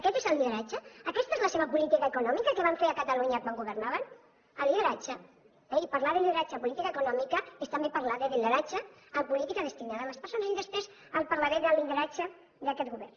aquest és el lideratge aquesta és la seva política econòmica que van fer a catalunya quan governaven el lideratge eh i parlar de lideratge en política econòmica és també parlar de lideratge en política destinada a les persones i després li parlaré del lideratge d’aquest govern